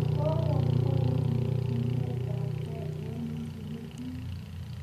koko mwee piik chiletabkey eng msikitit